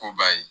Koba ye